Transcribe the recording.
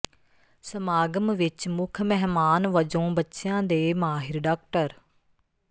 ਸਮਾਗਮ ਵਿੱਚ ਮੁੱਖ ਮਹਿਮਾਨ ਵਜੋਂ ਬੱਚਿਆਂ ਦੇ ਮਾਹਿਰ ਡਾ